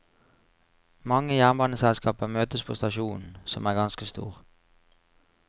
Mange jernbaneselskaper møtes på stasjonen, som er ganske stor.